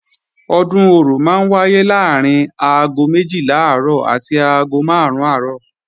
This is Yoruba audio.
Ọdún Orò máa ń wáyé láàrín aago méjìlá àárọ̀ àti aago máàrún àárọ̀